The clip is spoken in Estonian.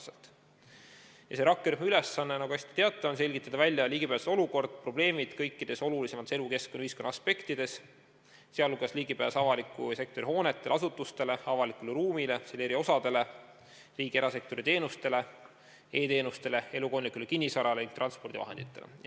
Selle rakkerühma ülesanne, nagu te hästi teate, on selgitada välja ligipääsetavuse olukord, probleemid kõikides olulisemates elukeskkonna ja ühiskonna aspektides, sh ligipääs avaliku sektori hoonetele-asutustele, avalikule ruumile, selle eri osadele, riigi erasektori teenustele, e-teenustele, elukondlikule kinnisvarale ning transpordivahenditele.